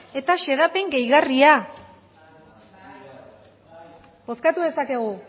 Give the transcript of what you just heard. eta xedapen gehigarria bozkatu dezakegu